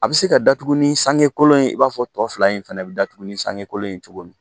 A bɛ se ka datugu ni sange kolon ye i b'a fɔ tɔ fila in fana bɛ datugu ni sange kolon ye cogo min